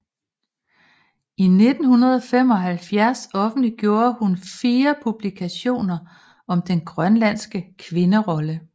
I 1975 offentliggjorde hun fire publikationer om den grønlandske kvinderolle